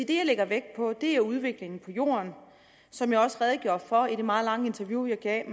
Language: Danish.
det jeg lægger vægt på er udviklingen på jorden som jeg også redegjorde for i det meget lange interview jeg gav